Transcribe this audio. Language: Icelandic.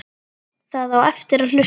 Það á eftir að hlusta.